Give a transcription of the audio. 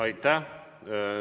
Aitäh!